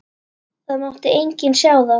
Það mátti enginn sjá það.